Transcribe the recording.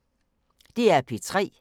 DR P3